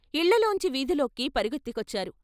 ఇళ్ళల్లోంచి వీధుల్లోకి పరుగెత్తుకొచ్చారు